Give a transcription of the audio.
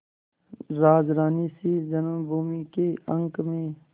राजरानीसी जन्मभूमि के अंक में